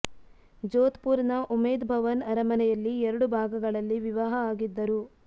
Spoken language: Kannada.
ಜೋಧ್ ಪುರ್ ನ ಉಮೇದ್ ಭವನ್ ಅರಮನೆಯಲ್ಲಿ ಎರಡು ಭಾಗಗಳಲ್ಲಿ ವಿವಾಹ ಆಗಿದ್ದರು